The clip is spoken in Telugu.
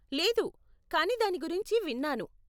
లేదు, కానీ దాని గురించి విన్నాను.